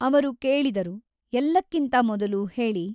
ಅವರು ಕೇಳಿದರು ಎಲ್ಲಕ್ಕಿಂತ ಮೊದಲು ಹೇಳಿ.